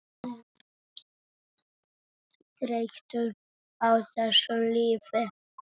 Verður þreytt á þessu lífi.